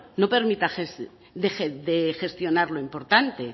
no deje de gestionar lo importante